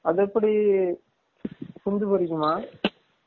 அது எப்டி குஞ்சு போரிக்குமா?